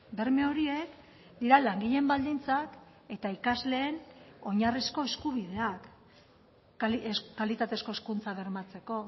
berme horiek dira langileen baldintzak eta ikasleen oinarrizko eskubideak kalitatezko hezkuntza bermatzeko